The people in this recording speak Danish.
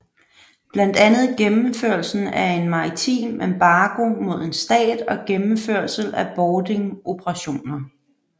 Blandt andet gennemførelsen af en maritim embargo mod en stat og gennemførelse af boardingoperationer